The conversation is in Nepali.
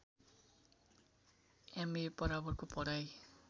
एमए बराबरको पढाइ